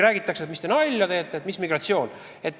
Räägitakse, et mis te nalja teete, et mis migratsioon.